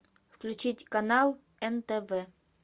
включить канал нтв